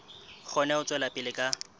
kgone ho tswela pele ka